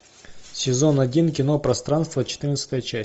сезон один кино пространство четырнадцатая часть